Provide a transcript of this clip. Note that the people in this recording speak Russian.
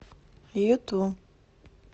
юту